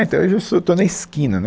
é então, hoje eu sou, estou na esquina, né